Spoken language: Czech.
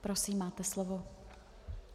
Prosím, máte slovo.